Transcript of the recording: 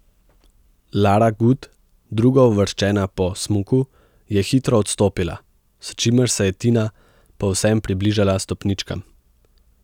Lara Gut, drugouvrščena po smuku, je hitro odstopila, s čimer se je Tina povsem približala stopničkam.